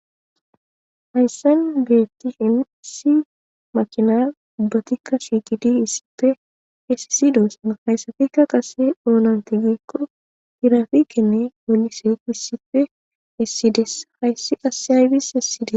hayssan geettishin issi makina ubbatikka shikidi issife esisidosa hayssafikka qase doonante geekko irafikenne goliseeko issipfe essides hayssi qasse hayfis essiyde